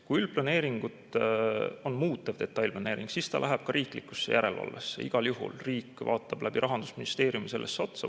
Kui on üldplaneeringut muutev detailplaneering, siis see läheb ka riikliku järelevalve alla, igal juhul riik vaatab Rahandusministeeriumi kaudu sellele otsa.